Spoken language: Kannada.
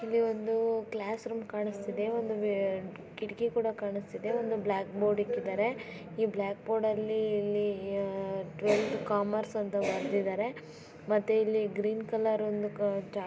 ಇಲ್ಲಿ ಒಂದು ಕ್ಲಾಸ್ ರೂಮ್ ಕಾಣಿಸ್ತಾ ಇದೆ ಒಂದು ಕಿಟಕಿ ಕೂಡ ಕಾಣಿಸ್ತಾ ಇದೆ. ಒಂದು ಬ್ಲಾಕ್ ಬೋರ್ಡ್ ಇಟ್ಟಿದ್ದಾರೆ ಈ ಬ್ಲಾಕ್ ಬೋರ್ಡ್ ಅಲ್ಲಿ ಇಲ್ಲಿ ಟ್ವೆಲತಾ ಕಾಮರ್ಸ್ ಅಂತ ಬರೆದಿದ್ದಾರೆ ಮತ್ತೆ ಇಲ್ಲಿ ಗ್ರೀನ್ ಕಲರ್ ಒಂದು--